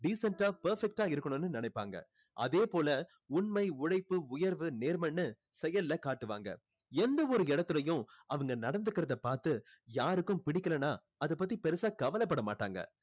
decent ஆ perfect ஆ இருக்கணும்னு நினைப்பாங்க அதே போல உண்மை உழைப்பு உயர்வு நேர்மைன்னு செயல்ல காட்டுவாங்க எந்த ஒரு இடத்துலேயும் அவங்க நடந்துக்கிறத பாத்து யாருக்கும் பிடிக்கலைன்னா அதை பத்தி பெருசா கவலைப்பட மாட்டாங்க